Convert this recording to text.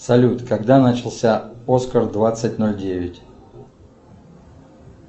салют когда начался оскар двадцать ноль девять